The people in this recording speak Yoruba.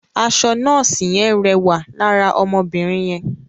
Aṣọ nọ́ọ̀sì yẹn rẹwà lára ọmọbìnrin yẹn.